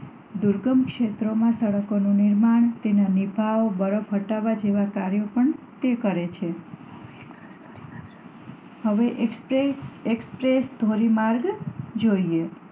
દુર્ગમ ક્ષેત્રો માં પણ સડકો નું નિર્માણ તેના દેખાવ અને બરફ હેઠળ જેવા કાર્યો પણ તે કરે છે હવે એક્સપ્રેસ એક્સપ્રેસ ધોરીમાર્ગ જોઈએ